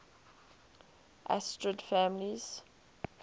asterid families